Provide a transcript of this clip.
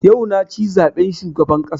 Yau na ci zaben shugaban ƙasa